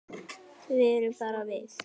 Við erum bara við